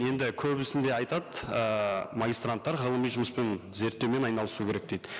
енді көбісінде айтады ыыы магистранттар ғылыми жұмыспен зерттеумен айналысу керек дейді